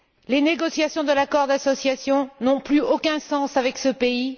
Les négociations sur un accord d'association n'ont plus aucun sens avec ce pays.